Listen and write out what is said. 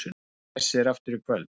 Hvessir aftur í kvöld